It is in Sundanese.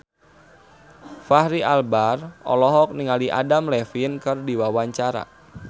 Fachri Albar olohok ningali Adam Levine keur diwawancara